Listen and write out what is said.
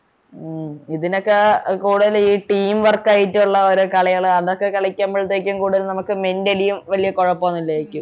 ആഹ് ഇതിനൊക്കെ കൂടുതൽ ഈ team work ആയിട്ടുള്ളവരേ കളികള് അതൊക്കെ കളിക്കമ്പോളത്തേക്കും കൂടുതൽ നമ്മക്ക് mentally യും വല്യ കൊഴപ്പൊന്നുമില്ലെരിക്കും